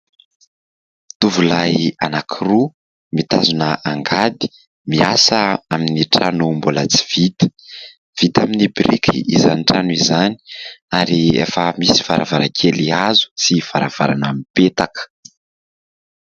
Tovolahy anankiroa mitazona angady miasa amin'ny trano mbola tsy vita. Vita amin'ny biriky izany trano izany ary efa misy varavarankely hazo sy varavarana mipetaka.